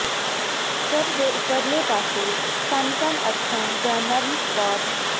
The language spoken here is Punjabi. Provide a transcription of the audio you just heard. ਸਿਰ ਦੇ ਉਪਰਲੇ ਪਾਸੇ ਸਨਕਨ ਅੱਖਾਂ ਜਾਂ ਨਰਮ ਸਪਾਟ